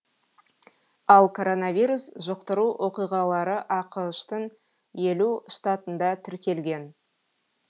ал коронавирус жұқтыру оқиғалары ақш тың елу штатында тіркелген